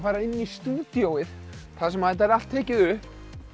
fara inn í stúdíóið þar sem þetta er allt tekið upp